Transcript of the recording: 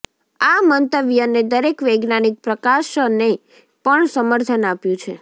આ મંતવ્યને દરેક વૈજ્ઞાનિક પ્રકાશને પણ સમર્થન આપ્યું છે